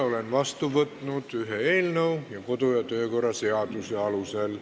Olen vastu võtnud ühe eelnõu, millega tegutseme edasi kodu- ja töökorra seaduse alusel.